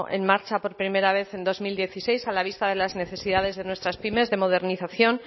en marcha por primera vez en dos mil dieciséis a la vista de las necesidades de nuestras pymes de modernización